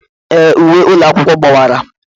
Ee, uwe ụlọ akwụkwọ gbawara.